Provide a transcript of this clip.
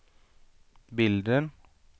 bilden